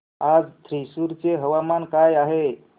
आज थ्रिसुर चे हवामान काय आहे